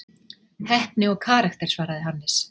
Heppni og karakter svaraði Hannes.